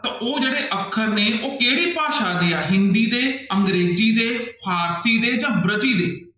ਤਾਂ ਉਹ ਜਿਹੜੇ ਅੱਖਰ ਨੇ ਉਹ ਕਿਹੜੀ ਭਾਸ਼ਾ ਦੇ ਹੈ, ਹਿੰਦੀ ਦੇ, ਅੰਗਰੇਜ਼ੀ ਦੇ, ਫ਼ਾਰਸ਼ੀ ਦੇ ਜਾਂ ਦੇ।